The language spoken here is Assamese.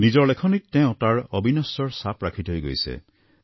নিজৰ লেখনীত তেওঁ তাৰ অবিনশ্বৰতাৰ চাপ ৰাখি থৈ গৈছে